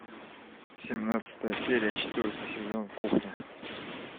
семнадцатая серия четвертый сезон кухня